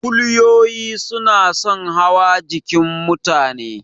Kuliyoyi suna son hawa jikin mutane.